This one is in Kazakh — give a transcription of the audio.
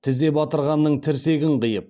тізе батырғанның тірсегін қиып